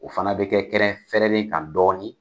O fana be kɛ kɛnɛ fɛɛrɛlen kan dɔɔni.